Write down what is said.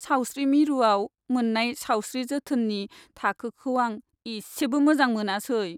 सावस्रि मिरुआव मोन्नाय सावस्रि जोथोननि थाखोखौ आं एसेबो मोजां मोनासै।